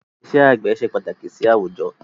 Ìṣe àgbẹ̀ ṣe pàtàkì sì àwùjọ